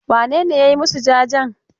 Wane ne ya yi masu jajen?